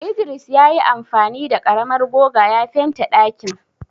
Idris ya yi amfani da karamar goga ya fente ɗakin.